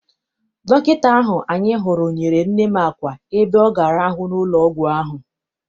Dọkịta ahụ anyị hụrụ nyere nne m àkwà ebe ọ ga-arahu n'ụlọ ọgwụ ahụ.